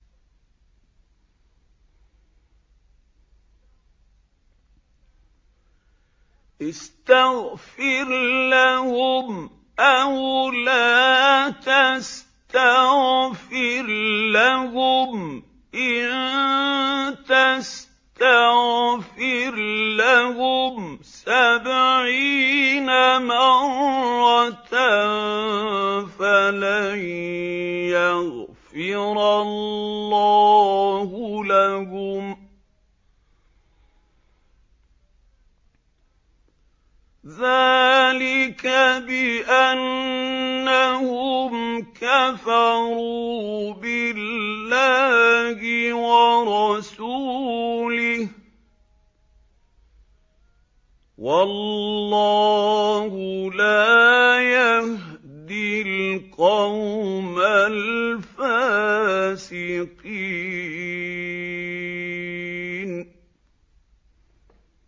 اسْتَغْفِرْ لَهُمْ أَوْ لَا تَسْتَغْفِرْ لَهُمْ إِن تَسْتَغْفِرْ لَهُمْ سَبْعِينَ مَرَّةً فَلَن يَغْفِرَ اللَّهُ لَهُمْ ۚ ذَٰلِكَ بِأَنَّهُمْ كَفَرُوا بِاللَّهِ وَرَسُولِهِ ۗ وَاللَّهُ لَا يَهْدِي الْقَوْمَ الْفَاسِقِينَ